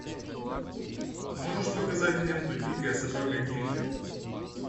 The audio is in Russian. можешь показать ленту дикая собака динго